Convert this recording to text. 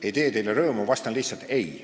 Ei tee teile rõõmu, vastan lihtsalt ei.